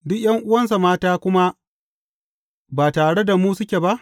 Duk ’yan’uwansa mata kuma ba tare da mu suke ba?